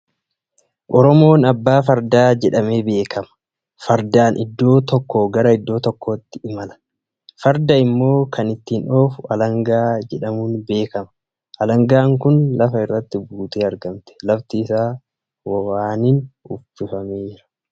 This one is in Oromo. Oromoon abbaa fardaa jedhamee beekama. Faardaan iddoo tokkoo gara iddoo tokkootti imala. Farda immoo kan ittiin oofu alangaa jerhamuun beekama. Alangaan kun lafa irrati buutee argamti. Lafti isaa waaniin uffifameera